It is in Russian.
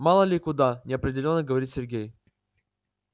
мало ли куда неопределённо говорит сергей